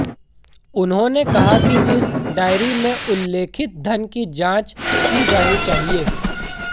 उन्होेंने कहा कि इस डायरी में उल्लेखित धन की जांच की जानी चाहिए